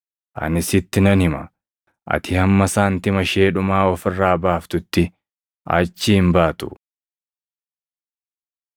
Ani sitti nan hima; ati hamma saantima ishee dhumaa of irraa baaftutti achii hin baatu.”